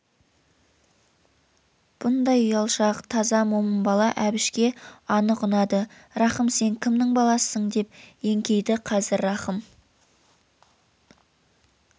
бұндай ұялшақ таза момын бала әбішке анық ұнады рахым сен кімнің баласысың деп еңкейді қазір рахым